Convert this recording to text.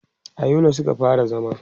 a Yola Suka fara zama